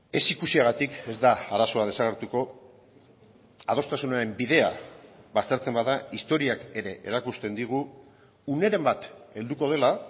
ez ikusiagatik ez da arazoa desagertuko adostasunaren bidea baztertzen bada historiak ere erakusten digu uneren bat helduko dela